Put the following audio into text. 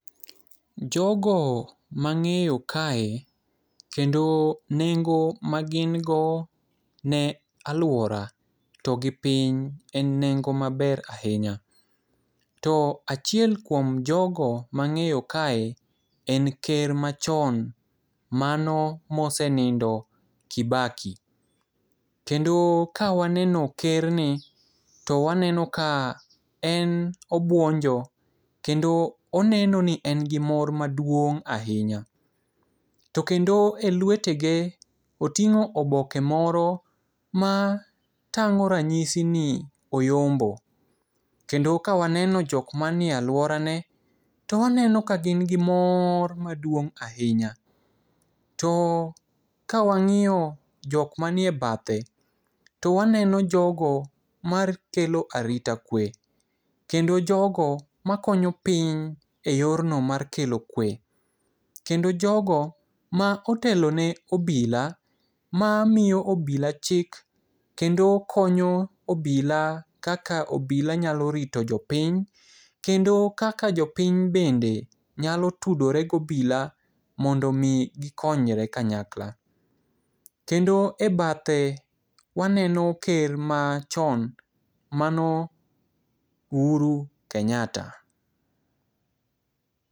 Jogo mang'eyo kae kendo nengo magin go ne aluora to gi piny en nengo maber ahinya. To achiel kuom jogo ma ang'eyo kae en ker machon mano mosenindo Kibaki. Kendo ka waneno kerni to waneno ka en obuonjo kendo oneno ni en gimor maduong' ahinya to kendo elwetege oting'o oboke moro matang'o ranyisi ni oyombo. Kendo ka waneno jok man e aluorane to waneno ka gin gi mor maduong' ahinya to kawang'iyo jok manie bathe to waneno jogo makelo arita kwe kendo jogo makonyo piny eyorno mar kelo kwe kendo jogo ma otelo ne obila mamiyo obila chik kendo konyo obila kaka obila nyalo rito jopiny kendo kaka jopiny bende nyalo tudore gi obila mondo gikony piny kanyakla. Kendo e bathe waneno ker machon, mano Uhuru Kenyatta.